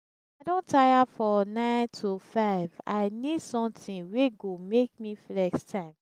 i don tire for 9-to-5 i need something wey go make me flex time.